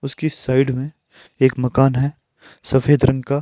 उसकी साइड में एक मकान हैं सफेद रंग का।